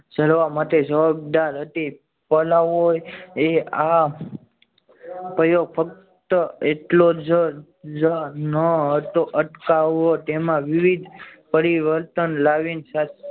ઝરવા માટે જવાબદાર હતી પલ્લવએ આ પ્રયોગ ફક્ત એટલો જ ન હતો અટકાવવો. તેમાં વિવિધ પરિવર્તન